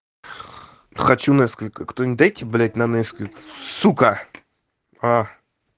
хочу несквика кто-нибудь дайте блядь на несквик сука а